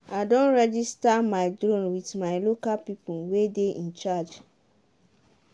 i don registar my drone with my local people wey dey in charge.